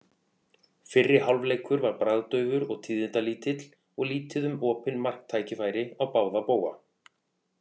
Fyrri hálfleikur var bragðdaufur og tíðindalítill og lítið um opinn marktækifæri á báða bóga.